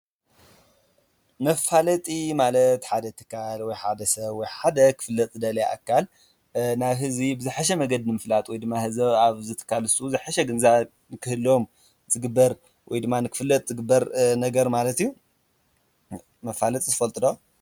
መፋለጢ ማለት ሓደ ትካል ወይ ሓደ ሰብ ወይ ሓደ ክፍለጥ ዝደለየ ኣካል ናብ ህዝቢ ብዝሕሽ መንገዲ ምፍላጥ ወይ ድማ ህዝቢ ኣብ ዘትካልሱ ዘሐሸ ግንዛን ክህሎም ጽግበር ወይ ድማን ክፍለጥ ዝግበር ነገር ማለት ዩ። መፋለጢ ዘፋልጡ ትፈልጡ ዶ?